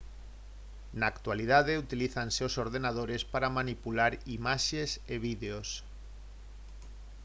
na actualidade utilízanse os ordenadores para manipular imaxes e vídeos